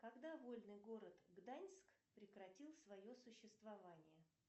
когда вольный город гданьск прекратил свое существование